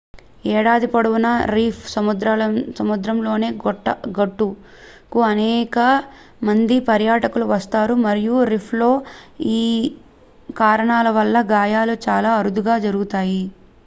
ఏడాది పొడవునా రీఫ్‌సముద్రతలంలోని గుట్టకు అనేక మంది పర్యటకులు వస్తారు మరియు రీఫ్‌లో ఈ కారణాల వల్ల గాయాలు చాలా అరుదుగా జరుగుతాయి